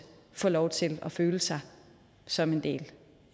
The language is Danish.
får lov til at føle sig som en del